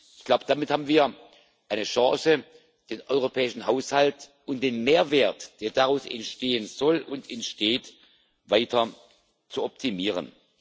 Ich glaube, damit haben wir eine Chance, den europäischen Haushalt und den Mehrwert, der daraus entstehen soll und entsteht, weiter zu optimieren.